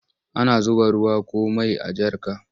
Ana zuba ruwa ko mai a jarka.